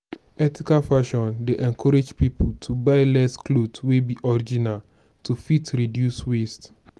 ethical fashion dey encourage pipo to buy less cloth wey be original to fit reduce waste